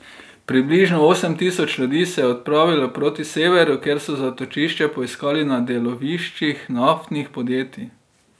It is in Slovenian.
Približno osem tisoč ljudi se je odpravilo proti severu, kjer so zatočišče poiskali na deloviščih naftnih podjetij.